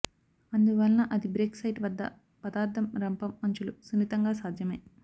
అందువలన అది break site వద్ద పదార్థం రంపం అంచులు సున్నితంగా సాధ్యమే